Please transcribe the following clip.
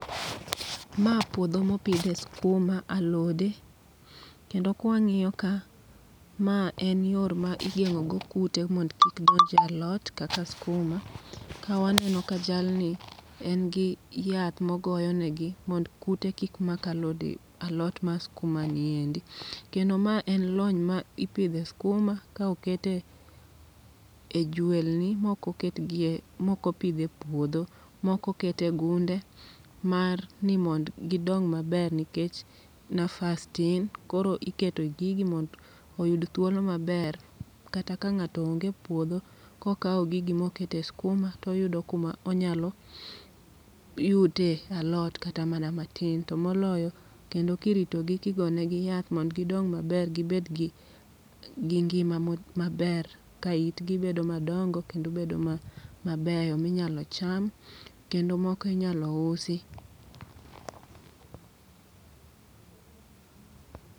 Ma puodho mopidhe skuma, alode. Kendo kwang'iyo ka, ma en yor ma igeng'o go kute mond kik donje alot kaka skuma. Ka waneno ka jalni, en gi yath mogoyo negi mond kute kik mak alode alot ma skuma niendi. Kendo ma en lony ma ipidhe skuma ka okete e jwelni mokoketgie mokopidh e puodho. Moko kete gunde mar ni mond gidong maber nikech nafas tin, koro ikete gigi mond oyud thuolo maber. Kata ka ng'ato onge e puodho, kokawo gigi mokete skuma toyudo kuma onyalo yute alot kata mana matin. To moloyo kendokiritogi kigonegi yath mond gindong maber gibed gi ngima maber. Ka itgi bedo madongo kendo bedo mabeyo minyalo cham, kendo moko inyalo usi.